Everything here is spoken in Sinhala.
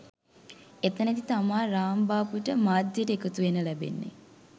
එතැනදි තමා රාම්බාබුට මාධ්‍යයට එකතුවෙන්න ලැබෙන්නෙ